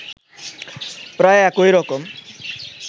প্রায় একই রকম